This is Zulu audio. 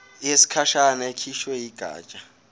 yesikhashana ekhishwe yigatsha